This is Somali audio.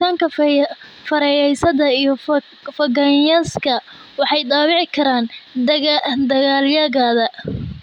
Jiritaanka fayrasyada iyo fangaska waxay dhaawici karaan dalagyada.